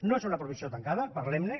no és una proposició tancada parlem ne